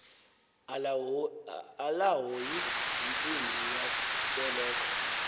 alahoyi yintsimbi yaseloko